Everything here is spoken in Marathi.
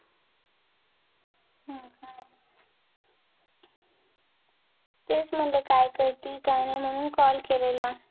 तेच म्हणलं काय करती काय नाही म्हणून call केलेला